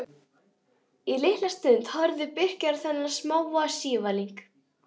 Í litla stund horfði Birkir á þennan smáa sívalning.